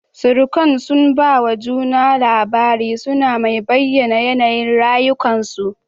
Surukan sun ba wa juna labarai suna mai bayyana yanayin rayukan su